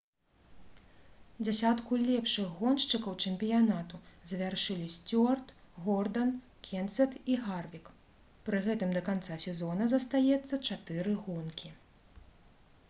дзесятку лепшых гоншчыкаў чэмпіянату завяршылі сцюарт гордан кенсет і гарвік пры гэтым да канца сезона застаецца чатыры гонкі